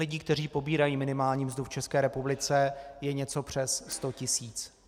Lidí, kteří pobírají minimální mzdu v České republice, je něco přes sto tisíc.